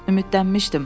Ümidlənmişdim.